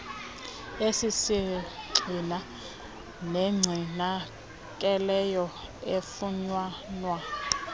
esisisgxina negcinakeleyo efunyanwa